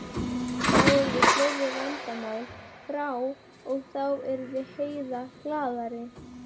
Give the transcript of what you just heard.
Þá yrðu fleiri vandamál frá og þá yrði Heiða glaðari.